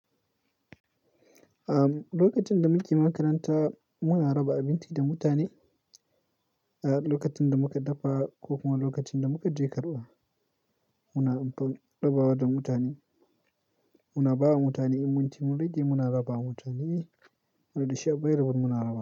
Am, lokacin da muke makaranta muna raba abinci da mutane. Ah, lokacin da muka dafa ko kuma lokacin da muka je karɓa, muna amfan ɗabawa da mutane. Muna bawa mutane in munci, mun rige muna raba wa mutane radishiyoyi bari abin mun raba.